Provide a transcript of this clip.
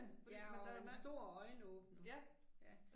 Ja og en stor øjenåbner, ja